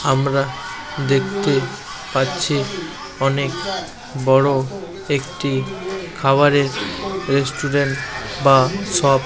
আমরা দেখতে পাচ্ছি অনেক বড়ো একটি খাবারের রেস্টুরেন্ট বা শপ ।